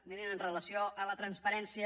mirin amb relació a la transparència